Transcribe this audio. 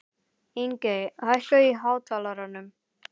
Ingey, hækkaðu í hátalaranum.